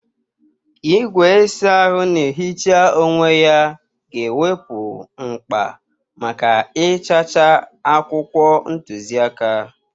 Igwe ịsa ahụ na-ehicha onwe ya ga-ewepụ mkpa maka ịchacha akwụkwọ ntuziaka.